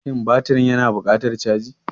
Shin batirin yana buƙatar caji?